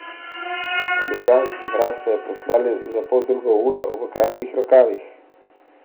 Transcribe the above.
Na ljubljanski mraz so jo poslali za poldrugo uro v kratkih rokavih.